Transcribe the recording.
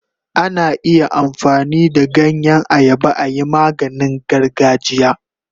Ana iya amfani da ganyen ayaba ayi maganin gargajiya.